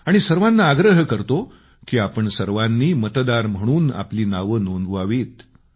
आणि सर्वांना आग्रह करतो की आपण सर्वांनी मतदार म्हणून आपली नावं नोंदवावीत